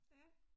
Ja